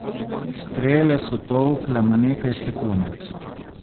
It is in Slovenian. Strele so tolkle na nekaj sekund.